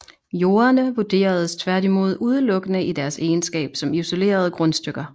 Jordene vurderedes tværtimod udelukkende i deres egenskab som isolerede grundstykker